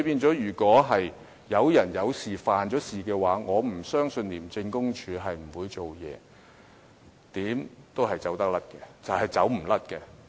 所以，如果有人犯了事，我不相信廉署不會採取行動，無論怎樣也是無法逃脫的。